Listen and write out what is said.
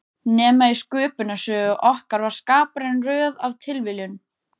Nema í Sköpunarsögu okkar var Skaparinn röð af tilviljunum.